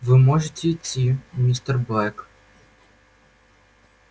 вы можете идти мистер блэк